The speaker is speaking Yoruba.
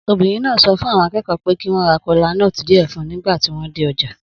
Obìnrin náà sọ fún àwọn akẹ́kọ̀ọ́ pé kí wọ́n ra kola nuts díẹ̀ fún un nígbà tí wọ́n dé ọjà.